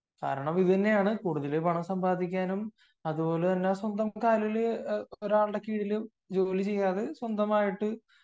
കാരണം ഇതുതന്നെയാണ് കൂടുതൽ പണം സമ്പാദിക്കാനും അതുപോലെ തന്നെ സ്വന്തം കാലിൽ ഒരാളുടെ കീഴിലും ജോലി ചെയ്യാതെ